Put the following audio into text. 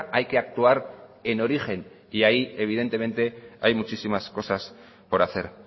hay que actuar en origen y ahí evidentemente hay muchísimas cosas por hacer